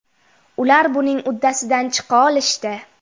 Ular buning uddasidan chiqa olishdi.